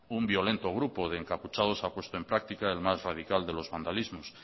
un violento grupo de encapuchados ha puesto en práctica el más radical de los vandalismos